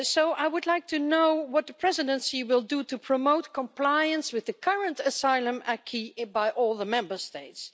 I would like to know what the Presidency will do to promote compliance with the current asylum acquis by all the Member States.